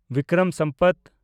Bikram Sambat